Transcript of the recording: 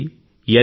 C ఎన్